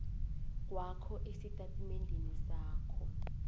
kwakho estatimendeni sakho